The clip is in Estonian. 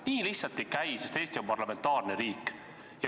Nii lihtsalt ei käi, sest Eesti on parlamentaarne riik.